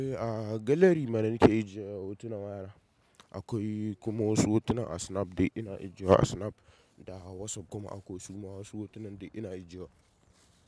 Eh, a gallery mana nike ajiye hotunan wayana. Akwai kuma wasu hotunan a snap de ina ajiyewa a snap da WhatsApp kuma akwai wasu ma wasu hotunan dai ina ajiyewa.